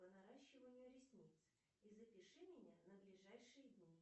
по наращиванию ресниц и запиши меня на ближайшие дни